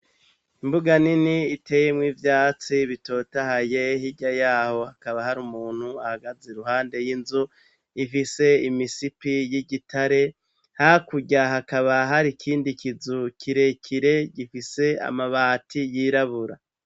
Imbuga nini iteyemwo ivyatsi bitota hayeho irya yaho hakaba hari umuntu ahagaze ruhande y'inzu ifise imisipi y'igitare hakurya hakaba hari ikindi kizu kirekire gifise amabati yirabura.